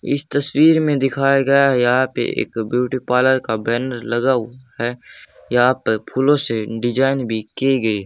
इस तस्वीर में दिखाया गया यहां पे एक ब्यूटी पार्लर का बैनर लगाओ है यहां पर फूलों से डिजाइन भी की गई--